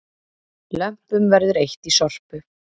Lömpum verður eytt í Sorpu